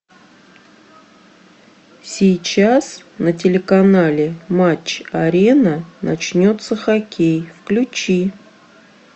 сейчас на телеканале матч арена начнется хоккей включи